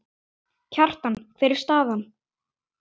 Kjartan, hver er staðan?